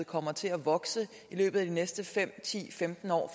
kommer til at vokse i løbet af de næste fem ti femten år